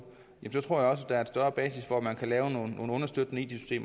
tror jeg også der er større basis for at man kan lave nogle understøttende it